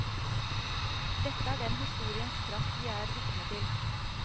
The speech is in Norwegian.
Dette er den historiens kraft vi er vitne til.